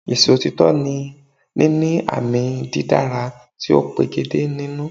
Ìsòtítọ́ ni níní àmì dídára tí ó pegedé nínú